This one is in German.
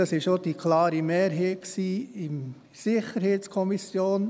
Das war auch die Meinung einer klaren Mehrheit